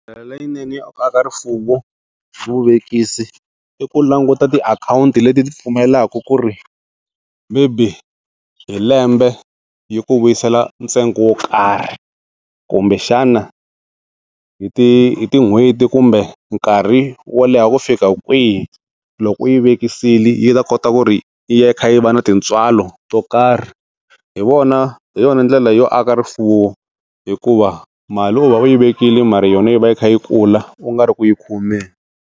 Ndlela leyinene ya ku aka rifuwo, vuvekisi i ku languta tiakhawunti leti ti pfumelaka ku ri maybe hi lembe yi ku vuyisela ntsengo wo karhi, kumbexana hi ti tin'hweti kumbe nkarhi wo leha ku fika kwihi, loko u yi vekisile yi ta kota ku ri yi va kha yi va ni tintswalo to karhi, hi wona hi yona ndlela yo aka rifuwo hikuva mali u va u yi vekile mara yona yi va yi kha yi kula u nga ri ku yi khomeni.